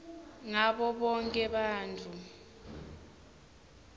ngabo bonkhe bantfu